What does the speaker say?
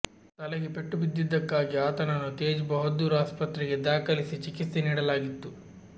ತಲೆಗೆ ಪೆಟ್ಟು ಬಿದ್ದಿದ್ದಕ್ಕಾಗಿ ಆತನನ್ನು ತೇಜ್ ಬಹದ್ದೂರ್ ಆಸ್ಪತ್ರೆಗೆ ದಾಖಲಿಸಿ ಚಿಕಿತ್ಸೆ ನೀಡಲಾಗಿತ್ತು